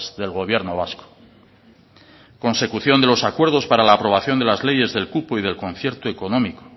del gobierno vasco consecución de los acuerdos para la aprobación de las leyes del cupo y del concierto económico